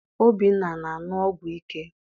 Obinna ana aṅụ ọgwụ ike?